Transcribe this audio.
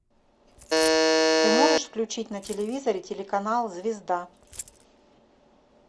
ты можешь включить на телевизоре телеканал звезда